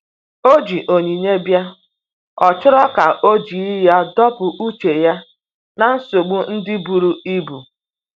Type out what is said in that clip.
O ji onyinye bia,ọ chọrọ ka oji ya dọpụ uche ya na nsogbo ndi buru ibụ.